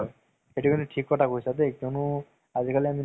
আৰু কিবা সেইটো movies যে মেলা গোজ্জৰ